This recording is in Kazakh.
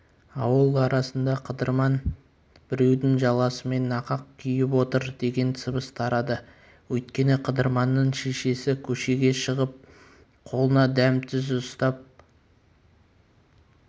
ауыл арасында қыдырман біреудің жаласымен нақақ күйіп отыр деген сыбыс тарады өйткені қыдырманның шешесі көшеге шығып қолына дәм-тұз ұстап